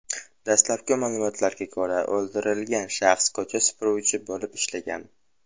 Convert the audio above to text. Dastlabki ma’lumotlarga ko‘ra, o‘ldirilgan shaxs ko‘cha supuruvchi bo‘lib ishlagan.